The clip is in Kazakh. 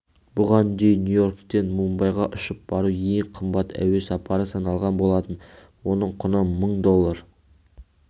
бұған дейін нью-йорктен мумбайға ұшып бару ең қымбат әуе сапары саналған болатын оның құны мың доллар